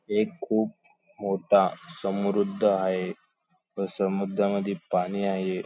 एक खूप मोठा समृद्ध आहे तो समुद्रामध्ये पाणी आहे.